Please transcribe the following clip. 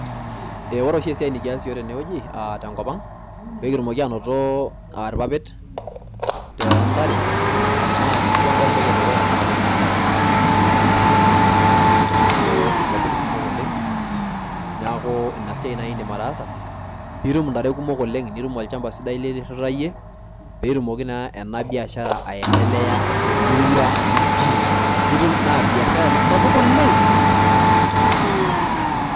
ee ore oshi esiai nikias iyiok tene wueji aa tenkopang, pekitumoki anoto aa irpapit toontare naa ore entoki edukuya naa piata intare kumok pitumoki naa anoto ipapit kumok oleng' . niaku ina siai naai indim ataasa pitum intare kumok oleng', nitum olchamaba sidai lirirayie petumoki naa ena biashara aendelea temurua nitii. naa biashara ena sapuk oleng' .